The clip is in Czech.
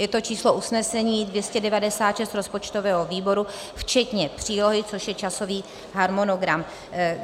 Je to číslo usnesení 296 rozpočtového výboru včetně přílohy, což je časový harmonogram.